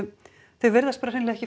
þau virðast bara hreinlega ekki